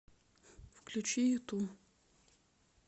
включи юту